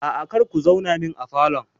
Aa, kar ku zauna min a falon